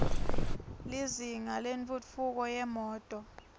lizinga lentfutfu ko yetimoto